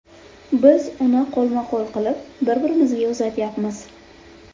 Biz uni qo‘lma-qo‘l qilib, bir-birimizga uzatyapmiz.